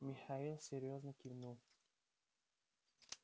михаил серьёзно кивнул